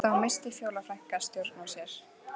Þá missir Fjóla frænka stjórn á sér